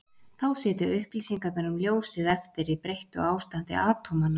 Þá sitja upplýsingarnar um ljósið eftir í breyttu ástandi atómanna.